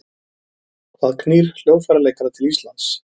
Hvað knýr hljóðfæraleikara til Íslands?